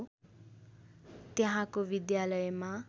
त्यहाँको विद्यालयमा